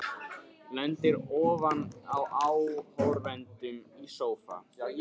Lendir ofan á áhorfendum í sófa.